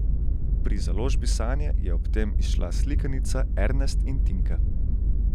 Pri založbi Sanje je ob tem izšla slikanica Ernest in Tinka.